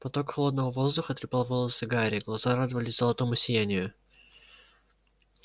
поток холодного воздуха трепал волосы гарри глаза радовались золотому сиянию